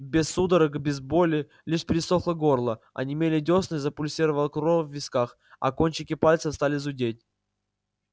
без судорог без боли лишь пересохло горло онемели дёсны запульсировала кровь в висках а кончики пальцев стали зудеть